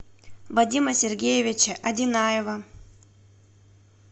вадима сергеевича одинаева